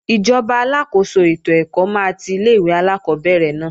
Ìjọba aláàkóso ètò ẹ̀kọ́ máa ti ilé-ìwé alákọ́bẹ̀rẹ̀ náà